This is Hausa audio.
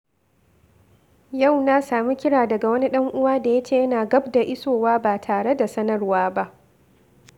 Yau na sami kira daga wani dan uwa da ya ce yana gab da isowa ba tare da sanarwa ba.